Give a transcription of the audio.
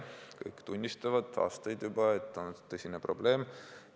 Kõik tunnistavad, aastaid juba, et on tõsine probleem.